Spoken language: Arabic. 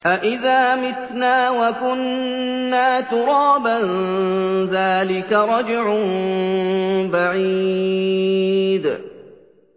أَإِذَا مِتْنَا وَكُنَّا تُرَابًا ۖ ذَٰلِكَ رَجْعٌ بَعِيدٌ